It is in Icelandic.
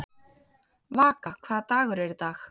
Vaka, hvaða dagur er í dag?